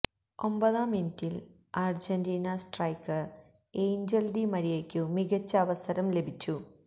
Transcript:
ഒമ്പതാം മിനിറ്റില് Argentine striker Angel Di മരിയയ്ക്കു മികച്ച അവസരം ലഭിച്ചു